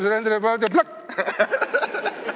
Ba-ba-ba-ba-ba-ba-plõkk.